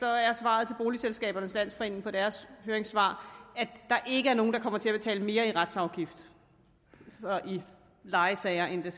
er svaret til boligselskabernes landsforening på deres høringssvar at der ikke er nogen der kommer til at betale mere i retsafgift i lejesager end de